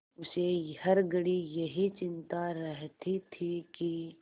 उसे हर घड़ी यही चिंता रहती थी कि